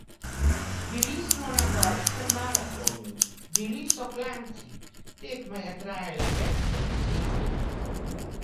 Bili smo na gorskem maratonu, bili so klanci, tekma je trajala več kot deset ur.